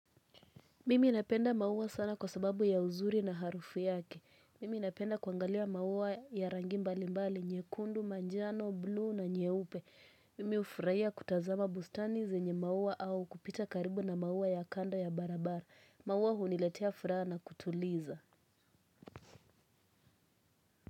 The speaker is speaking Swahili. Mimi napenda mauwa sana kwa sababu ya uzuri na harufu yake. Mimi napenda kuangalia mauwa ya rangi mbali mbali, nyekundu, manjano, blu na nyeupe. Mimi hufuraiya kutazama bustani zenye mauwa au kupita karibu na mauwa ya kando ya barabara. Mauwa huniletea furaha na kutuliza.